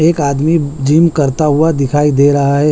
एक आदमी जिम करता हुआ दिखाई दे रहा है।